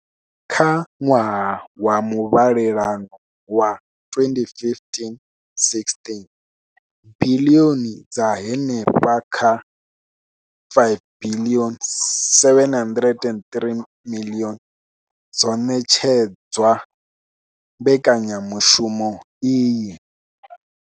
Kha ṅwaha wa muvhalelano wa 2015,16, biḽioni dza henefha kha R5 703 dzo ṋetshedzwa mbekanyamushumo iyi.